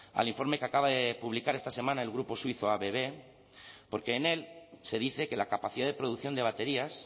al informe que acaba de publicar esta semana el grupo suizo abb porque en él se dice que la capacidad de producción de baterías